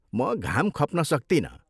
म घाम खप्न सक्तिनँ।